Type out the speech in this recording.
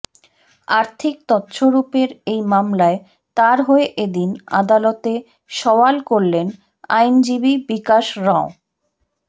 আর্থিক তছরূপের এই মামলায় তাঁর হয়ে এদিন আদালতে সওয়াল করলেন আইনজীবী বিকাশরঞ